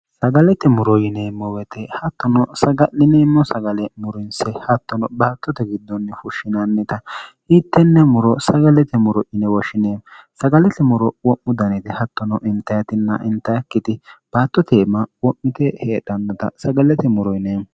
sagalete muro yineemmo woyte hattono saga'lineemmo sagale murinse hattono baattote giddonni fushshinannita hiittenne muro sagalete muro ine woshshinee sagalete muro wo'mu danete hattono intahatinna intaakkiti baattoteemma wo'mite heedhannita sagalete muro yineemmo